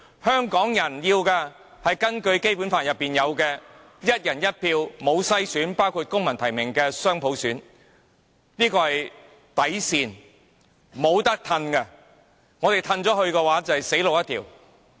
香港人要的是根據《基本法》訂明的"一人一票"的選舉，包括由公民提名的雙普選，而且不用篩選，這是底線，不可退讓。